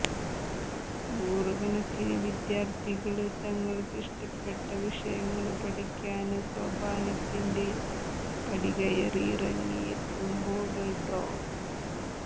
നൂറുകണക്കിന് വിദ്യാര്ത്ഥികള് തങ്ങള്ക്കിഷ്ടപ്പെട്ട വിഷയങ്ങള് പഠിക്കാന് സോപാനത്തിന്റെ പടികയറിയെത്തുമ്പോള് ഡോ